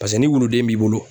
Paseke ni wuluden b'i bolo.